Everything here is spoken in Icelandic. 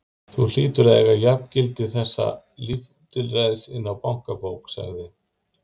Þú hlýtur að eiga jafngildi þessa lítilræðis inni á bankabók sagði